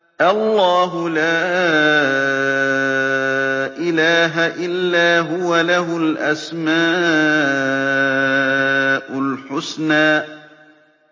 اللَّهُ لَا إِلَٰهَ إِلَّا هُوَ ۖ لَهُ الْأَسْمَاءُ الْحُسْنَىٰ